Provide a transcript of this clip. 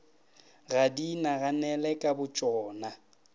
ga di inaganele ka botšona